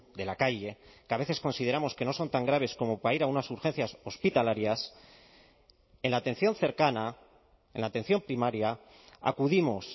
de la calle que a veces consideramos que no son tan graves como para ir a unas urgencias hospitalarias en la atención cercana en la atención primaria acudimos